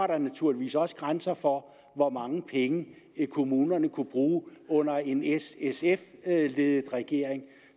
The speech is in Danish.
der naturligvis også grænser for hvor mange penge kommunerne ville kunne bruge under en s sf ledet regering